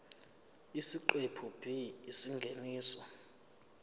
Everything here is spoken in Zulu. isiqephu b isingeniso